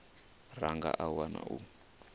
ra nga a wana u